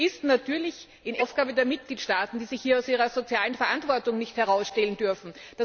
Das ist natürlich in erster Linie die Aufgabe der Mitgliedstaaten, die sich hier aus ihrer sozialen Verantwortung nicht herausstehlen dürfen.